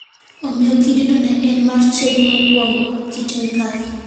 Omiyo kidino ne en mar chiege mokwongo (Kit Mikayi).